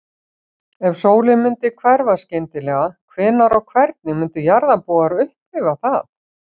Ef sólin myndi hverfa skyndilega, hvenær og hvernig myndu jarðarbúar upplifa það?